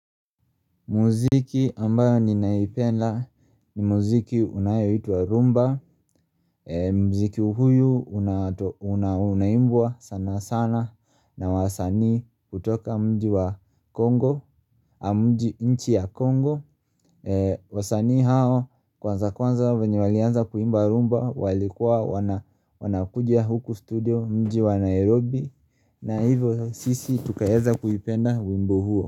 Muziki ambayo ninaipenda ni muziki unayotwa rumba, muziki huyu unaimbua sana sana na wasanii kutoka mji wa Congo, inchi ya Congo wasanii hao kwanza kwanza venye walianza kuimba rumba walikuwa wanakuja huku studio mji wa Nairobi na hivyo sisi tukaeza kuipenda wimbo huo.